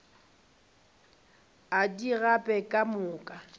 a di gape ka moka